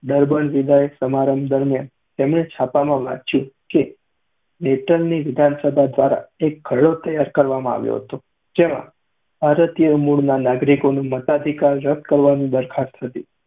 Durban વિદાય સમારંભ દરમ્યાન તેમણે છાપામાં વાંચ્યું કે netal ની વિધાનસભા દ્વારા એક ખરડો તૈયાર કરવામાં આવ્યો હતો જેમાં ભારતીય મૂળના નાગરિકોનો મતાધિકાર રદ કરવાની દરખાસ્ત હતી.